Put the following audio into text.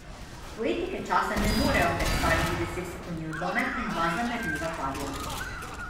Poetike časa ne morejo predstaviti desetsekundni odlomek in dva zamerljiva pavijana.